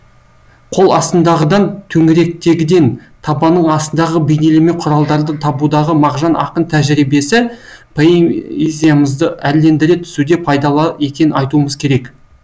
қол астындағыдан төңіректегіден табанның астындағы бейнелеме құралдарды табудағы мағжан ақын тәжірибесі поэзиямызды әрлендіре түсуде пайдалы екенін айтуымыз керек